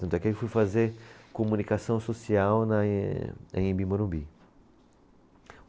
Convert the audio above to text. Tanto é que eu fui fazer comunicação social na anhem, Anhembi Morumbi.